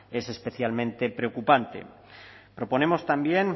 es especialmente preocupante proponemos también